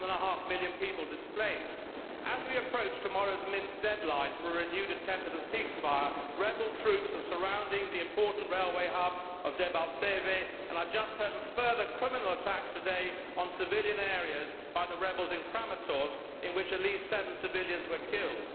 1.5 million people displaced. As we approach tomorrow's Minsk deadline for a renewed attempt at a ceasefire, rebel troops are surrounding the important railway hub of Debaltseve and I have just heard of further criminal attacks today on civilian areas by the rebels in Kramatorsk in which at least seven civilians were killed.